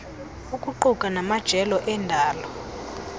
ukuquka namajelo endalo